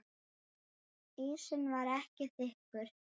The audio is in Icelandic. Ísinn var ekki þykkur.